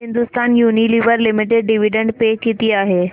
Hindustan Unilever Limited dividend pay किती आहे